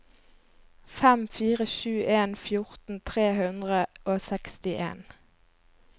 fem fire sju en fjorten tre hundre og sekstien